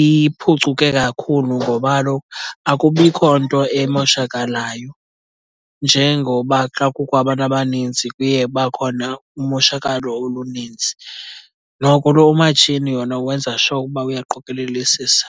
iphucuke kakhulu ngoba kaloku akubikho nto emoshakalayo njengoba xa kukho abantu abaninzi kuye kuba khona umoshakalo oluninzi. Noko lo umatshini wona wenza sure uba uyaqokolelisisa.